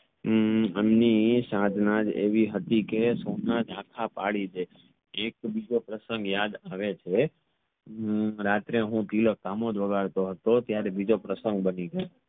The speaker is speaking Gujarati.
હમ એમની સાધનાજ એકવી હતી કે પડી ડે એક બીજો પ્રસંગ યાદ આવે છે હમ રાત્રે હું તિલક પામોદ વગાડતો હતો ત્યરેહ બીજો પ્રસંગ બની ગયો